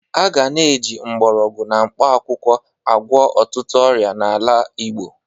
A ga na-eji mgbọrọgwụ na mkpakwụkwọ agwọ ọtụtụ ọrịa n'ala Igbo.